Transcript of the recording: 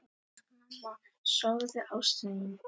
Elsku mamma, sofðu, ástin mín.